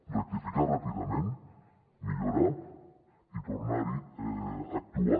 rectificar ràpidament millorar i tornar a actuar